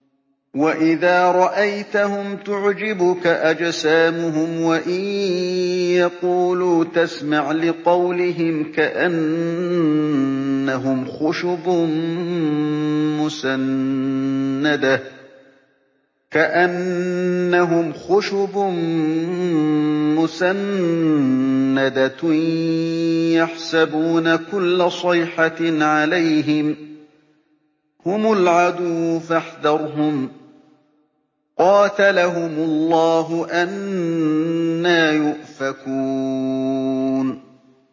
۞ وَإِذَا رَأَيْتَهُمْ تُعْجِبُكَ أَجْسَامُهُمْ ۖ وَإِن يَقُولُوا تَسْمَعْ لِقَوْلِهِمْ ۖ كَأَنَّهُمْ خُشُبٌ مُّسَنَّدَةٌ ۖ يَحْسَبُونَ كُلَّ صَيْحَةٍ عَلَيْهِمْ ۚ هُمُ الْعَدُوُّ فَاحْذَرْهُمْ ۚ قَاتَلَهُمُ اللَّهُ ۖ أَنَّىٰ يُؤْفَكُونَ